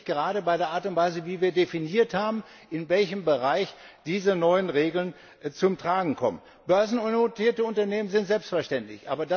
Und das sehe ich gerade bei der Art und Weise, wie wir definiert haben, in welchem Bereich diese neuen Regeln zum Tragen kommen. Börsennotierte Unternehmen sind selbstverständlich.